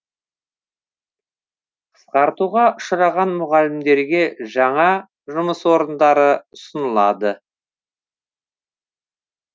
қысқартуға ұшыраған мұғалімдерге жаңа жұмыс орындары ұсынылады